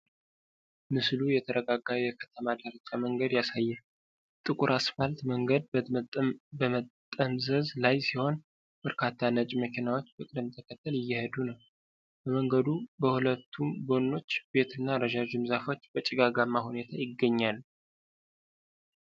ምስሉ የተረጋጋ የከተማ ዳርቻ መንገድ ያሳያል። ጥቁር አስፋልት መንገድ በመጠምዘዝ ላይ ሲሆን፣ በርካታ ነጭ መኪናዎች በቅደም ተከተል እየሄዱ ነው። በመንገዱ በሁለቱም ጎኖች ቤት እና ረዣዥም ዛፎች በጭጋጋማ ሁኔታ ይገኛሉ።